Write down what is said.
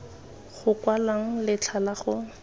go kwalwang letlha la go